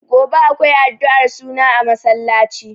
Gobe akwai addu'ar suna a masallaci.